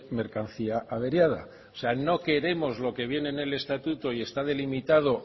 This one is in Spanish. mercancía averiada o sea no queremos lo que viene en el estatuto y está delimitado